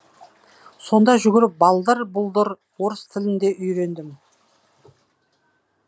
сонда жүріп балдыр бұлдыр орыс тілін де үйрендім